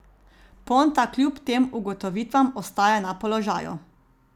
Ponta kljub tem ugotovitvam ostaja na položaju.